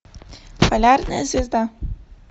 полярная звезда